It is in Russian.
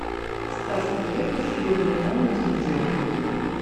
стас пьеха зеленый омут видео